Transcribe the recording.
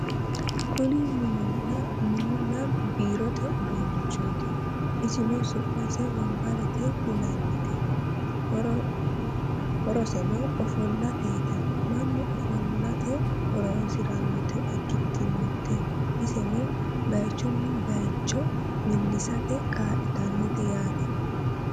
kuni mininna biirote uduunichooti isino su'mase wonbarete yinannite horoseno ofollateeti mannu ofollate horonsirannota ikkitinote iseno bayeechunni bayeecho millisate kaa'litannote yaate